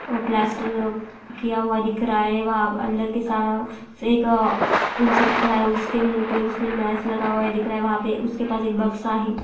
ओ plaster किया हुआ दिख रहा है वहाँ अंदर के सा एक इंसान खड़ा है उसके मुंह पे उसके मास्क लगा हुआ दिख रहा है वहाँ पे उसके पास एक बक्सा है।